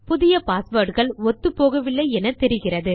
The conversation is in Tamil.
புதிய பாஸ்வேர்ட் கள் ஒத்துப்போகவில்லை என்று தெரிகிறது